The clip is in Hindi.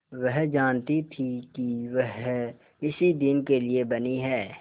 वह जानती थी कि वह इसी दिन के लिए बनी है